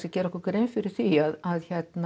gera okkur grein fyrir því að